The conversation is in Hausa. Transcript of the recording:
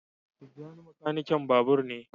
Tijjani makanikin babur ne.